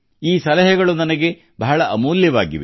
ಈ ಸಲಹೆಗಳು ನನಗೆ ಬಹಳ ಅಮೂಲ್ಯವಾಗಿವೆ